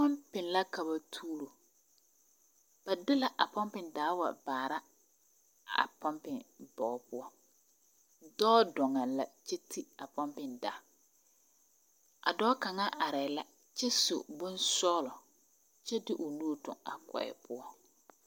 pumpin la ka ba tuuro, ba de la a pumpin daa wa baara a pumpin bogi poɔ dɔɔ dɔŋɛ la kyɛ te a pumpin taa a dɔɔ , a dɔɔ kaŋa are la kyɛ su bonsɔllɔ kyɛ de o nu toŋi a kɔɛ